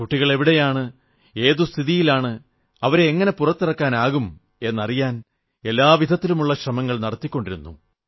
കുട്ടികളെവിടെയാണ് ഏതു സ്ഥിതിയിലാണ് അവരെ എങ്ങനെ പുറത്തിറക്കാനാകും എന്നറിയാൻ എല്ലാ വിധത്തിലുമുള്ള ശ്രമങ്ങൾ നടത്തിക്കൊണ്ടിരുന്നു